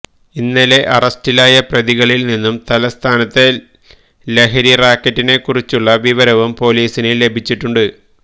ഇന്നലെ അറസ്റ്റിലായ പ്രതികളിൽ നിന്നും തലസ്ഥാനത്തെ ലഹരി റാക്കറ്റിനെ കുറിച്ചുള്ള വിവരവും പൊലീസിന് ലഭിച്ചിട്ടുണ്ട്